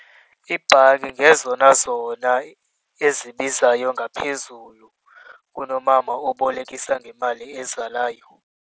Iibhanki ngezona zona ezibizayo ngaphezulu kunomama obolekisa ngemali ezalayo.